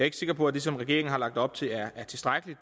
ikke sikker på at det som regeringen har lagt op til er tilstrækkeligt